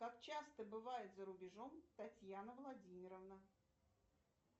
как часто бывает за рубежом татьяна владимировна